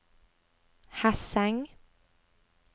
Hesseng